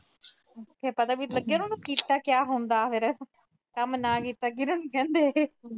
ਫਿਰ ਪਤਾ ਵੀ ਲੱਗੇ ਨਾ ਕੀਤਾ ਕਿਆ ਹੁੰਦਾ ਫਿਰ। ਕੰਮ ਨਾ ਕੀਤਾ ਕਿਹਨੂੰ ਕਹਿੰਦੇ।